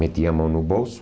Metia a mão no bolso,